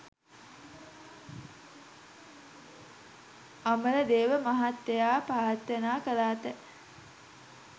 අමරදේව මහත්තයා ප්‍රාර්ථනා කරාට